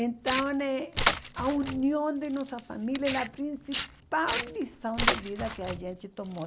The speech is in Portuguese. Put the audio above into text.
Então, eh a união de nossa família é a principal lição de vida que a gente tomou.